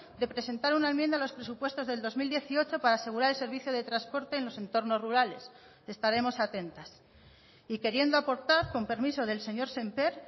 de presentar una enmienda a los presupuestos del dos mil dieciocho para asegurar el servicio de transporte en los entornos rurales estaremos atentas y queriendo aportar con permiso del señor sémper